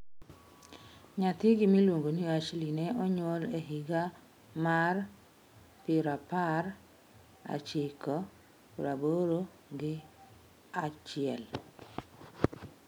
Nyathigi miluongo ni Ashley ne onyuol e higa mar pirapar ochiko praboro gi achiel.